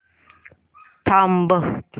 थांब